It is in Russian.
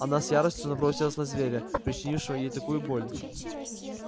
она с яростью набросилась на зверя причинившего ей такую боль